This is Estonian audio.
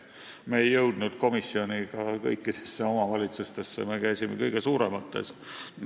Meie komisjon ei jõudnud kõikidesse omavalitsustesse, me käisime kõige suuremates.